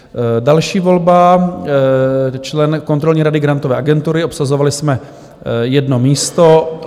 Další volba - člen Kontrolní rady Grantové agentury, obsazovali jsme jedno místo.